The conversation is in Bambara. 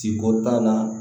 Ti bɔ tan na